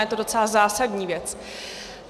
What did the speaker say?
Je to docela zásadní věc.